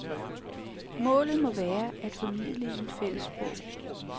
Målet må være at formidle i et fællessprog.